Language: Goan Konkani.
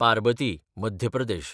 पारबती (मध्य प्रदेश)